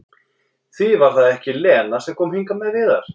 Því var það ekki Lena sem kom hingað með Viðar?